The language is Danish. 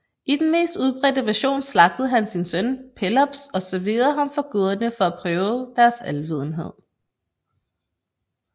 I den mest udbredte version slagtede han sin søn Pelops og serverede ham for guderne for at prøve deres alvidenhed